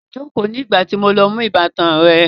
Jókòó nígbà tí mo lọ mú ìbátan rẹ